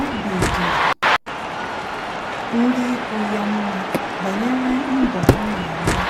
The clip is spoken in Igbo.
Óbì dị ndị ikwu ya mma banyere mbọ ọ na-agba